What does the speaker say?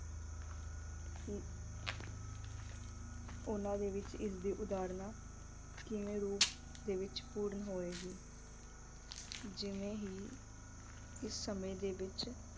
ਕੀ ਉਹਨਾਂ ਦੇ ਵਿੱਚ ਇਸ ਦੀ ਉਦਾਹਰਣਾਂ ਕਿਮੇਂ ਰੂਪ ਦੇ ਵਿੱਚ ਪੂਰਨ ਹੋਵਗੀ ਅਹ ਜਿਵੇਂ ਹੀ ਇਸ ਸਮੇਂ ਦੇ ਵਿੱਚ